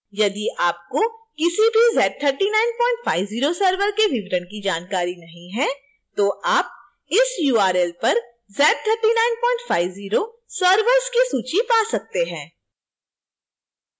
यदि आपको किसी भी z3950 server के विवरण की जानकारी नहीं है तो आप इस url पर z3950 servers की सूची पा सकते हैं